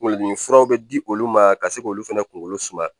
Kunkolodimi furaw bɛ di olu ma ka se k'olu fana kunkolo suma